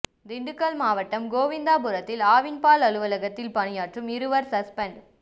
திண்டுக்கல் மாவட்டம் கோவிந்தாபுரத்தில் ஆவின் பால் அலுவலகத்தில் பணியாற்றும் இருவர் சஸ்பெண்ட்